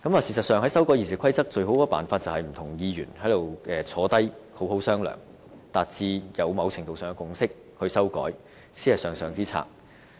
事實上，在修改《議事規則》方面，最佳方法就是不同議員坐下來一起好好商量，達致某程度上的共識才修改，這才是上上之策。